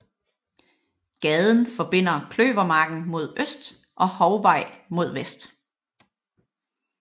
Gaden forbinder Kløvermarken mod øst og Hovvej mod vest